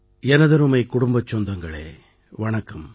எனதருமை குடும்பச் சொந்தங்களே வணக்கம்